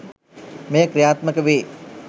මෙය ක්‍රියාත්මක වේ.